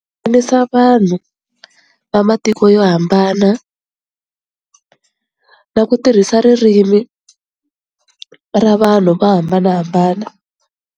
vanhu va matiko yo hambana na ku tirhisa ririmi ra vanhu vo hambanahambana.